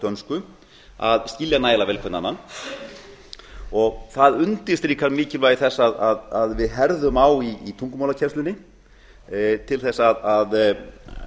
dönsku að skilja nægilega vel hvern annan það undir strikar mikilvægi þess að við herðum á í tungumálakennslunni til þess að